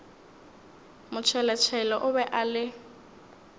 motšheletšhele o be a le